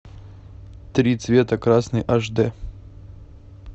три цвета красный аш дэ